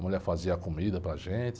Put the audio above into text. A mulher fazia a comida para gente.